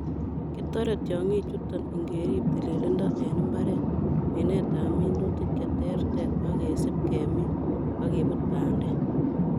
Kitore tiongichuton ingerib tilindo en mbar, minetab minutik cheterter ak kesib kemin ak kebut bandek.